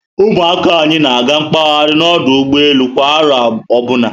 Ụmụ akwụkwọ anyị na-aga mkpahari na ọdụ ụgbọelu kwa aro ọbụna